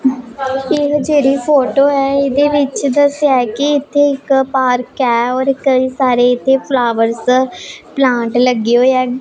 ਇਹ ਜਿਹੜੀ ਫੋਟੋ ਹੈ ਇਹਦੇ ਵਿੱਚ ਦੱਸਿਆ ਹੈ ਕਿ ਇੱਥੇ ਇੱਕ ਪਾਰਕ ਹੈ ਔਰ ਕਈ ਸਾਰੇ ਇੱਥੇ ਫ਼ਲਾਵਰਸ ਪਲਾਂਟ ਲੱਗੇ ਹੋਏ ਹੈਂ।